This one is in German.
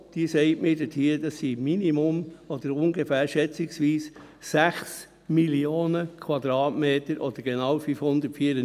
Sie sagt mir, es seien schätzungsweise ungefähr 6 Mio. Quadratmeter oder genau 594 Hektaren.